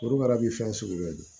Foroba bi fɛn sugu bɛɛ dun